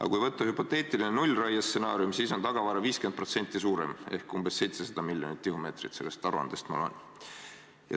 Aga kui võtta hüpoteetiline nullraie stsenaarium, siis on tagavara 50% suurem ehk umbes 700 miljonit tihumeetrit – nii ma sellest aruandest välja loen.